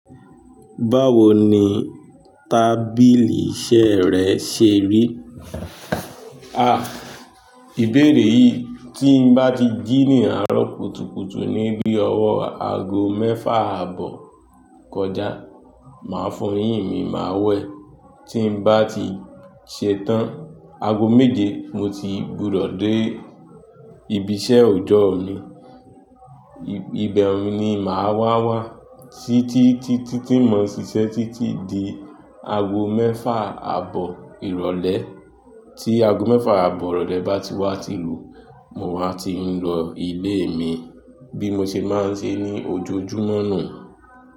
Báwo ni tábìlì iṣẹ́ rẹ ṣe rí? Ìbéèrè yìí tí n bá ti jí ní àárọ̀ kùtùkùtù ní bí ọwọ́ aago mẹ́fà àbọ̀ kọjá, màá fún yín mi má wẹ. Tí n bá ti ṣetán, aago méje mo ti gbúdọ̀ dé ibi iṣẹ́ ọjọ́ mi. Ibẹ̀ ni màá wá wá títí tí tí ti mo ṣiṣẹ́ títí di aago mẹ́fà àbọ̀ ìrọ̀lẹ́. Tí aago mẹ́fà àbọ̀ ìrọ̀lẹ́ bá ti wá ti lù, mo máa ti ń lọ ilé mi bí mo ṣe máa ń ṣe ní ojoojúmọ́ nù.